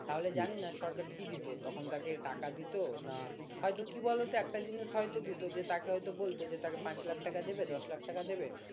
তাহলে জানি না সরকার কি দিতো তখন তাকে টাকা দিতো না হয়তো কি বলতো একটা জিনিস হয়তো দিতো তাকে যে হয়তো বলতো যে তাকে পাঁচ লাখ টাকা দেবে দশ লাখ টাকা দেবে